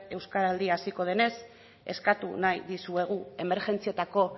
euskaraldia hasiko denez eskatu nahi dizuegu emergentzietako